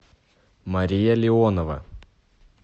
мария леонова